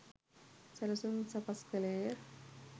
සැළසුම් සකස් කළේ ය